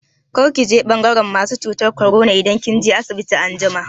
Kar ki je ɓangaran masu cutar korona idan kin je asibiti anjima!